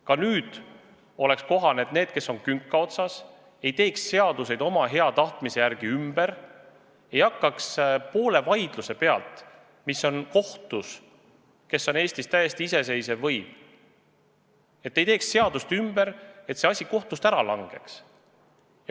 Ka nüüd oleks kohane, et need, kes on künka otsas, ei teeks seaduseid oma tahtmise järgi ümber, ei hakkaks keset vaidlust, mis on kohtus – ja kohus on Eestis täiesti iseseisev võim –, tegema seadust ümber, et see kaasus kohtus ära langeks.